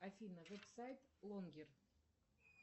афина веб сайт лонгер